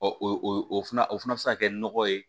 o o fana o fana bɛ se ka kɛ nɔgɔ ye